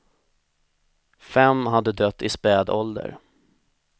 Fem hade dött i späd ålder.